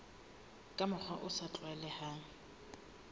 ka mokgwa o sa tlwaelehang